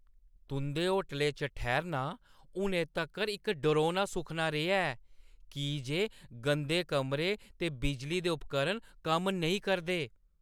तुंʼदे होटलै च ठैह्‌रना हुनै तक्कर इक डरौना सुखना रेहा ऐ की जे गंदे कमरे ते बिजली दे उपकरण कम्म नेईं करदे।